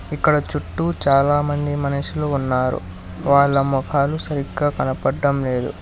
ఇక్కడ చుట్టు చాలా మంది మనుషులు ఉన్నారు్ వాల్ల మోకాలు సరిగా కనపడటం లేదు.